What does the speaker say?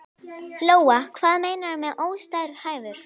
Lóa: Hvað meinarðu með óstarfhæfur?